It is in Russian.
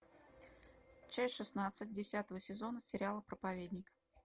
часть шестнадцать десятого сезона сериала проповедник